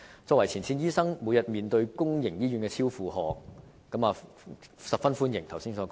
作為前線醫生，每天面對公營醫院超出負荷，所以十分歡迎剛才所說的措施。